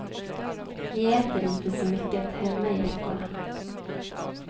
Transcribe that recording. Vi äter inte så mycket hemma i veckorna.